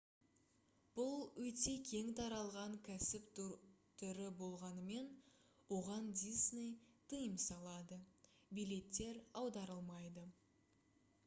бұл өте кең таралған кәсіп түрі болғанымен оған disney тыйым салады билеттер аударылмайды